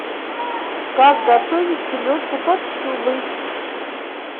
как готовить селедку под шубой